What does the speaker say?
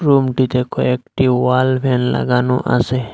রুমটিতে কয়েকটি ওয়ালবেল লাগানো আছে।